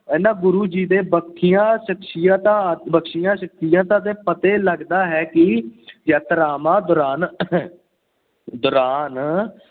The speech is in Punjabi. ਇਹਨਾਂ ਗੁਰੂ ਜੀ ਦੇ ਬਖਸ਼ੀਆਂ ਸ਼ਖ਼ਸੀਅਤਾਂ ਬਖਸ਼ੀਆਂ ਸਖਸ਼ੀਅਤਾਂ ਦੇ ਪਤੇ ਲੱਗਦਾ ਹੈ ਕਿ ਯਾਤਰਾਵਾਂ ਦੌਰਾਨ ਦੌਰਾਨ